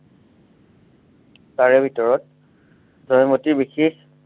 তাৰে ভিতৰত জয়মতীৰ বিশেষ